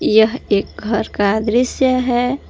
यह एक घर का दृश्य है।